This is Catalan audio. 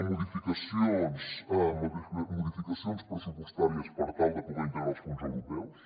modificacions pressupostàries per tal de poder integrar els fons europeus